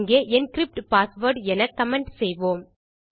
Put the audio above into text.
இங்கே encrypt password என comment செய்வோம்